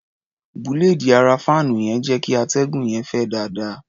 Búléèdì ara fáànù yẹn ń jẹ́ kí atẹ́gùn yẹn fẹ́ dáadáa.